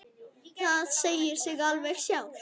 Það segir sig alveg sjálft.